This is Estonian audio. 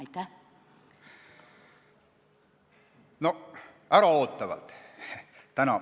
Täna äraootavalt.